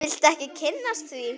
Vil ekki kynnast því.